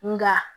Nga